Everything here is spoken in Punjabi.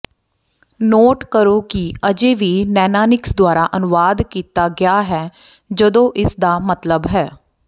ਨੋਟ ਕਰੋ ਕਿ ਅਜੇ ਵੀ ਨੈਨਾਨਿਕਸ ਦੁਆਰਾ ਅਨੁਵਾਦ ਕੀਤਾ ਗਿਆ ਹੈ ਜਦੋਂ ਇਸਦਾ ਮਤਲਬ ਹੈ